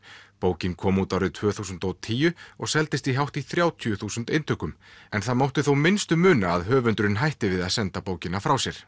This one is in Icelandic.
bókin kom út árið tvö þúsund og tíu og seldist hátt í þrjátíu þúsund eintökum en það mátti þó minnstu muna að höfundurinn hætti við að senda bókina frá sér